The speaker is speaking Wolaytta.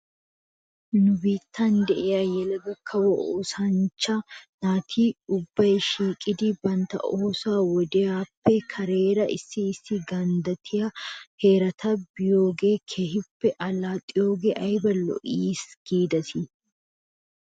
Nu biittan de'iyaa yelaga kawo oosanchcha naati ubbay shiiqettidi bantta ooso wodiyaappe kareera issi issi ganddattiyaa heerata biyoogan keehippe allaxiyoogee ayba lo'es giidetii?